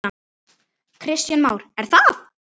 Kristján Már: Er það?